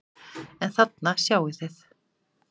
En þarna sjáið þið!